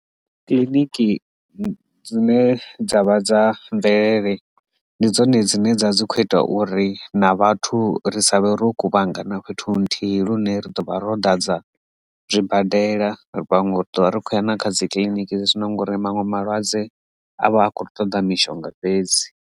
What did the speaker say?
Kiḽiniki dzine dza vha dza mvelele ndi dzone dzine dza dzi kho ita uri na vhathu ri sa vhe ro kuvhangana fhethu nthihi lune ri ḓo vha ro da dza zwibadela ravha rikhoya na kha dzikiliniki dzi zwino ngori maṅwe malwadze a vha a khou ṱoḓa mishonga fhedzi.